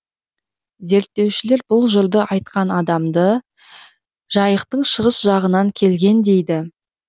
зерттеушілер бұл жырды айтқан адамды жайықтың шығыс жағынан келген дейді